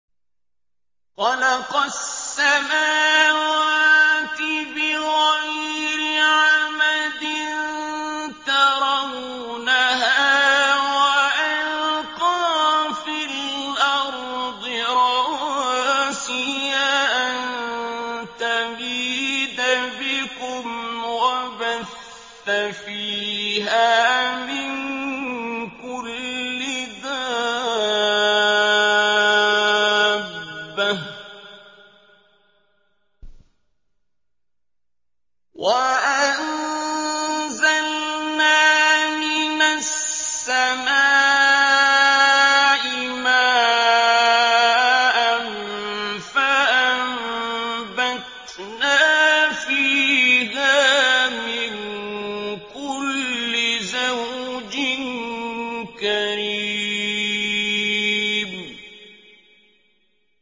خَلَقَ السَّمَاوَاتِ بِغَيْرِ عَمَدٍ تَرَوْنَهَا ۖ وَأَلْقَىٰ فِي الْأَرْضِ رَوَاسِيَ أَن تَمِيدَ بِكُمْ وَبَثَّ فِيهَا مِن كُلِّ دَابَّةٍ ۚ وَأَنزَلْنَا مِنَ السَّمَاءِ مَاءً فَأَنبَتْنَا فِيهَا مِن كُلِّ زَوْجٍ كَرِيمٍ